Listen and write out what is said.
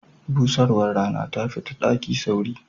Busarwar Rana tafi ta daki sauri.